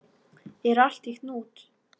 Er allt í hnút?